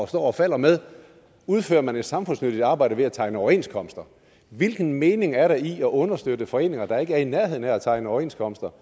står og falder med udfører man en et samfundsnyttigt arbejde ved at tegne overenskomster hvilken mening er der i at understøtte foreninger der ikke er i nærheden af at tegne overenskomster